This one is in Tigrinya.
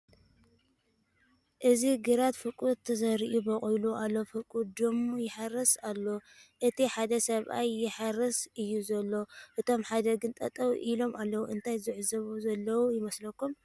እዚ ግራት ፍርቑ ተዘሪኡ በቑሉ ኣሎ ፍርቑ ድም ይሕረስ ኣሎ እቲ ሓደ ሰብኣይ ይሓርስ እዩ ዘሎ እቶም ሓደ ግን ጠጠው ኢሎም ኣለዉ ፡ እንታይ ዝዕዘቡ ዘለዉ ይመስለኩም ?